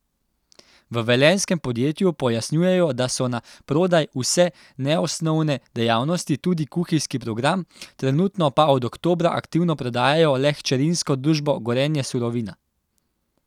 V velenjskem podjetju pojasnjujejo, da so na prodaj vse neosnovne dejavnosti, tudi kuhinjski program, trenutno pa od oktobra aktivno prodajajo le hčerinsko družbo Gorenje Surovina.